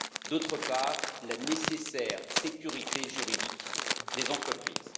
d'autre part, la nécessaire sécurité juridique des entreprises.